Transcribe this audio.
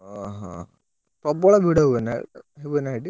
ଓହୋ ପ୍ରବଳ ହୁଏନା ହୁଏନା ସେଠି?